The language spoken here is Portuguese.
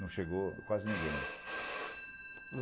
Não chegou quase ninguém.